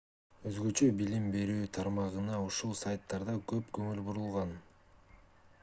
өзгөчө билим берүү тармагына ушул сайттарда көп көңүл бурулган